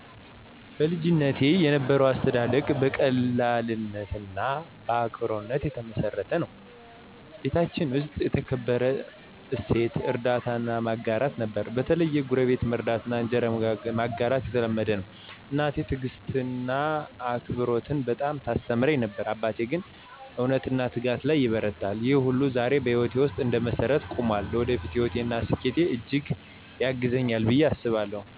በልጅነቴ የነበረው አስተዳደግ በቀላልነትና በአክብሮት የተመሰረተ ነበር። ቤታችን ውስጥ የተከበረው እሴት እርዳታና ማጋራት ነበር፤ በተለይ ጎረቤት መርዳትና እንጀራ መጋራት የተለመደ ነበር። እናቴ ትዕግስትንና አክብሮትን በጣም ታስተምረኝ ነበር፣ አባቴ ግን እውነትና ትጋት ላይ ይበረታል። ይህ ሁሉ ዛሬ በህይወቴ ውስጥ እንደ መሰረት ቆሞአል። ለወደፊት ህይወቴ እና ስኬቴ እጅግ ያግዘኛል ብየ አስባለሁ።